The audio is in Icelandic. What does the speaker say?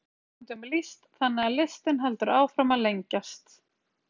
Á hverju ári er nýjum tegundum lýst þannig að listinn heldur áfram að lengjast.